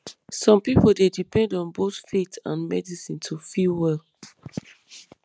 some people dey depend on both faith and medicine to feel well